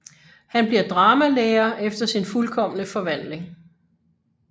Han bliver dramalærer efter sin fuldkomne forvandling